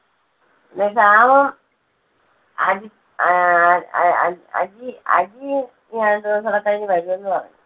പിന്നെ ശ്യാമും അജി ആഹ് അ~അ~അജി, അജിയും രണ്ട് ദിവസം കൂടി കഴിഞ്ഞ് വരുമെന്ന് പറഞ്ഞു.